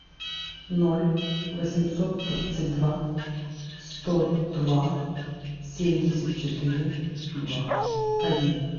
ноль восемьсот тридцать два сто два семьдесят четыре два один